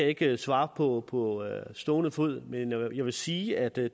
ikke svare på på stående fod men jeg vil sige at det